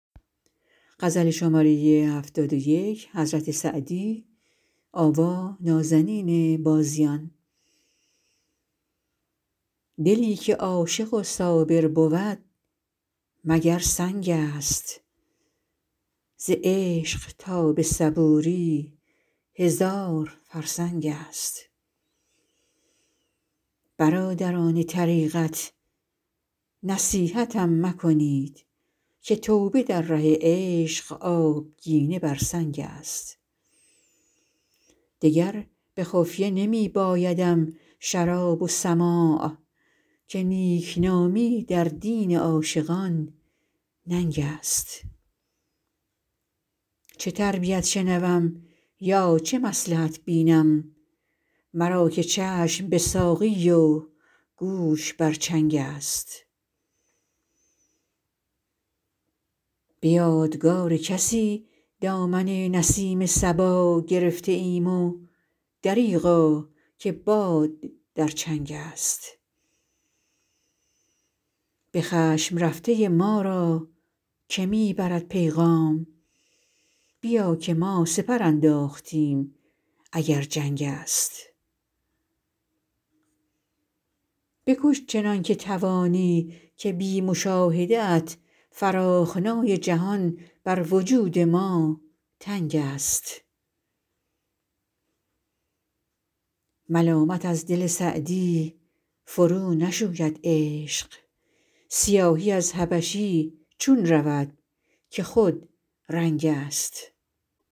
دلی که عاشق و صابر بود مگر سنگ است ز عشق تا به صبوری هزار فرسنگ است برادران طریقت نصیحتم مکنید که توبه در ره عشق آبگینه بر سنگ است دگر به خفیه نمی بایدم شراب و سماع که نیکنامی در دین عاشقان ننگ است چه تربیت شنوم یا چه مصلحت بینم مرا که چشم به ساقی و گوش بر چنگ است به یادگار کسی دامن نسیم صبا گرفته ایم و دریغا که باد در چنگ است به خشم رفته ما را که می برد پیغام بیا که ما سپر انداختیم اگر جنگ است بکش چنان که توانی که بی مشاهده ات فراخنای جهان بر وجود ما تنگ است ملامت از دل سعدی فرونشوید عشق سیاهی از حبشی چون رود که خودرنگ است